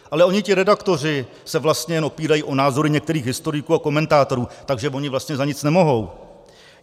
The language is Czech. Ale oni ti redaktoři se vlastně jen opírají o názory některých historiků a komentátorů, takže "voni vlastně za nic nemohou".